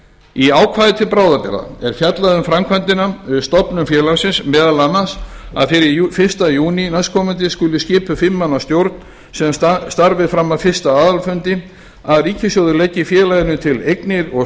í ákvæði til bráðabirgða er fjallað um framkvæmdina við stofnun félagsins meðal annars að fyrir fyrsta júní skuli skipuð fimm manna stjórn sem starfi fram að fyrsta aðalfundi að ríkissjóður leggi félaginu til eignir og